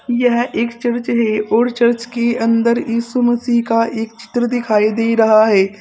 यह एक चर्च है और चर्च की अन्दर यीशु मसीह का एक चित्र दिखाई दे रहा है।